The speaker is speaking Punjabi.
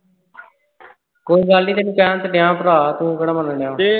ਕੋਈ ਗੱਲ ਨਹੀਂ ਤੈਨੂੰ ਕਹਿਣ ਤੇ ਦਿਆ ਭਰਾ ਤੂੰ ਕਿਹੜਾ ਮੰਨਣ ਦਿਆਂ